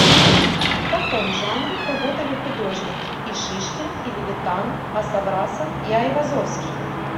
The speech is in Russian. в каком жанре работали художники и шишкин и левитан а саврасов и айвазовский